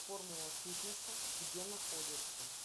формула фитнеса где находится